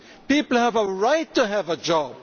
People have a right to have a job.